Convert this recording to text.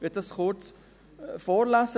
Ich kann das kurz vorlesen.